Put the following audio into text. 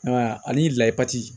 ani layipati